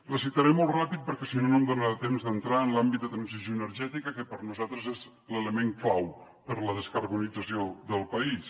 la citaré molt ràpid perquè si no no em donarà temps d’entrar en l’àmbit de transició energètica que per nosaltres és l’element clau per a la descarbonització del país